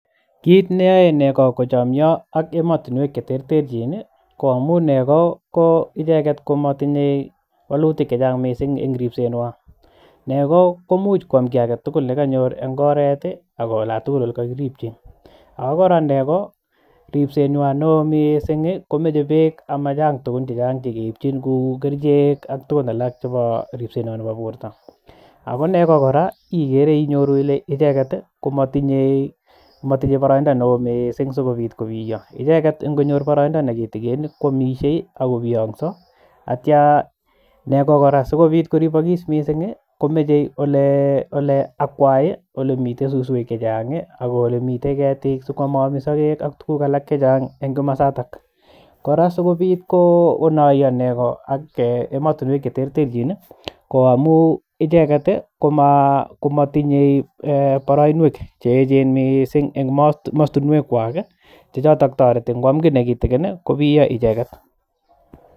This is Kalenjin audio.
Kit neyoe nego kochomio ak emotinwek cheterterchin koo amun nego ko icheket komotinyee wolutik chechang missing en ripsenywan, nego komuch kwam kii agetugul nekonyor eng oret ii akoo olatugul olekokiripchi ako kora negoo ripsenywan neo missing komoche beek amachang tuguk chechang chekiipchin kou kerichek ak tugun alak chebo ripsenywany nebo borto ako kora nego inyoru icheket ile motinye boroindoo neo missing sikobit kobiyoo icheket ingonyor boroindoo nekitigin kwamishe ako biyong'so ak ityia nego kora sikobit koripokis missing komoche olee olee akwai olemiten suswek chechang ii ak olemiten ketik sikwamoomi sokek ak tuguk alak chechang eng komosato, kora sikobit konoiyo nego ak eeh emotinwek cheterterchin ii ko amun icheket ii komatinye boroinwek cheechen missing en mostinwekwak chechoton toreti ngwam kii nekitikin kobiyoo icheket.